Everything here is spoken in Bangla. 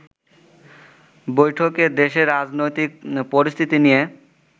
বৈঠকে দেশের রাজনৈতিক পরিস্থিতি নিয়ে